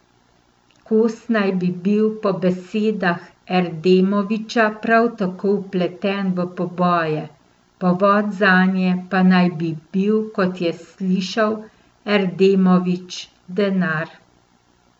Kos naj bi bil po besedah Erdemovića prav tako vpleten v poboje, povod zanje pa naj bi bil, kot je slišal Erdemović, denar.